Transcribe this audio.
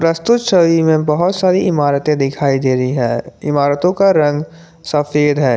प्रस्तुत छवि में बहुत सारी इमारतें दिखाई दे रही है इमारतों का रंग सफेद है।